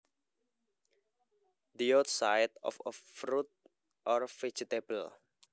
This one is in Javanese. The outside of a fruit or vegetable